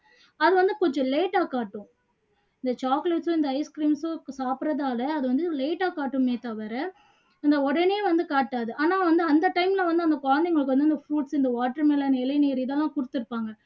அது வந்து கொஞ்சம் late ஆ காட்டும் இந்த chocolates உம் இந்த ice cream உம் சாப்பிடுறதால அது வந்து late ஆ காட்டுமே தவிர உடனே வந்து காட்டாது ஆனா வந்து அந்த time ல வந்து அந்த குழந்தைங்களுக்கு வந்து இந்த fruits, watermelon இளநீர் இதெல்லாம் கொடுத்துருப்பாங்க